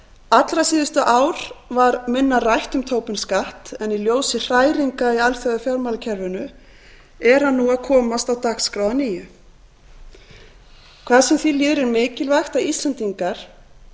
allra síðustu ár var minna rætt um tobin skatt en í ljósi hræringa í alþjóðafjármálakerfinu er hann nú að komast á dagskrá að nýju hvað sem því líður er mikilvægt að íslendingar